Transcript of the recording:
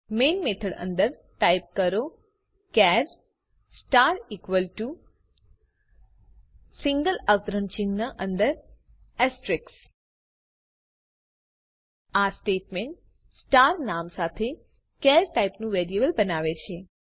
main method અંદર type કરો char star equal to single અવતરણ ચિહ્ન અંદર એસ્રટીક્સ આ સ્ટેટમેન્ટ સ્ટાર નામ સાથે ચાર ટાઇપનું વેરિયેબલ બનાવે છે